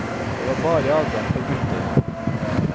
Det var bare adgang for gutter.